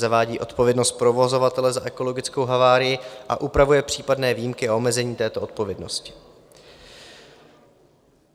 Zavádí odpovědnost provozovatele za ekologickou havárii a upravuje případné výjimky a omezení této odpovědnosti.